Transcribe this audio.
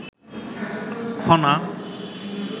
Khana